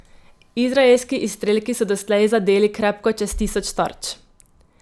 Izraelski izstrelki so doslej zadeli krepko čez tisoč tarč.